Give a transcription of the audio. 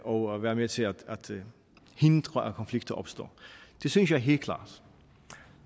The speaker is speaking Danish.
og være med til at hindre at konflikter opstår det synes jeg helt klart